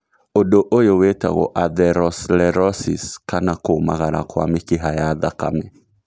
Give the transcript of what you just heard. ũndu ũyũ wĩtagwo atherosclerosis kana kũmagara kwa mĩkiha ya thakame